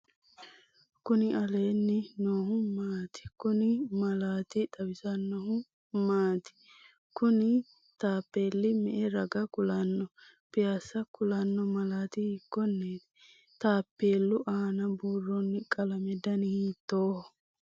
Kuni leellanni noohu maati? Kuni malaati xawisannohu maati? Kuni taappeelli me'e raga kulanno? Piassa kulanno malaati hiikkonneeti? Taappeellu aana buuroonni qalame dani hiittooho?